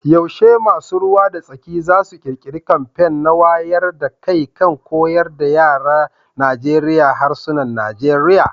Yaushe masu ruwa da tsaki za su kirkiri kamfen na wayar da kai kan koyar da yaran Najeriya harsunan Nigeriya